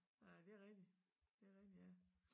Nej det rigtig det rigtig ja